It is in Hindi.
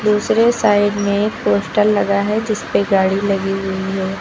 दूसरे साइड में पोस्टर लगा है जिसपे गाड़ी लगी हुई है।